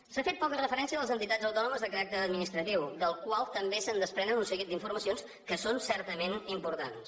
s’ha fet poca referència a les entitats autònomes de caràcter administratiu de les quals també es desprenen un seguit d’informacions que són certament importants